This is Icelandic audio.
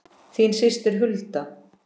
Þín systir Hulda.